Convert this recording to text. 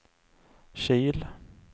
Kil